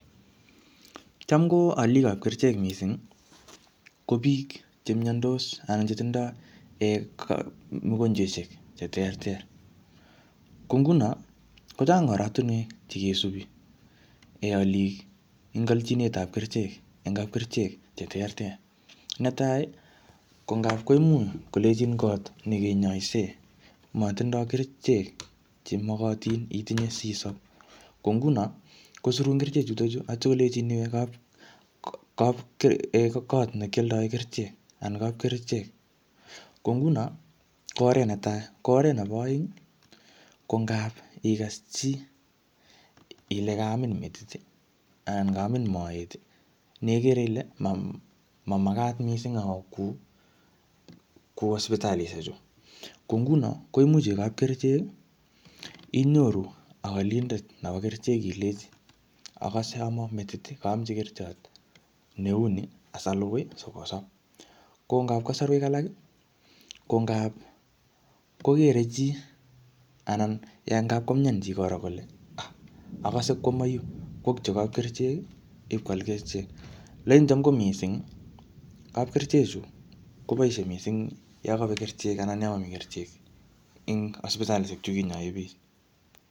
Cham ko alikab kerichek missing ko chemiandos anan chetindo mugochwaisiek cheterter. Ko ingunon ko Chang oratuniek chekisubi. Aalik en alchitab kerichek en kabkerichek. Cheterter. Netai ih ko ngab koimuch kolenchin kot nekinyaisen matindo kerichek chemakatin isisab. Ko ingunon kosirun kerichechu asikolenchin iwe kot ne kialdaen kerichek anan kabkerichek ko ngunon ko oret netai, ko oret neba aeng ih ko ngab igas chi Ile kamin metit ih anan kaamin maet ih nekere Ile mamakat missing iwe sibitalishek chu. Ko ngunon koimuch iwe kabkerichek ih inyoru alindet nebo kerichek ilenchi agase aman metit ih kaamchi kerichot neuni asalugui asaasob. Ko ngab kasaruek alak ih ko ngap kogere chi anan ngab komian chi kole agase koaman yu kwo kityok kab kerichek ih I koal kerichek, alaini Cham ko missing kabkerichek chu kobaishe missing Yoon kabek kerichek anan yamami kerichek en sibitalishek chekinyaen bik.